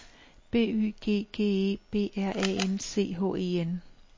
B Y G G E B R A N C H E N